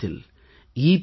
என்ற இடத்தில் இ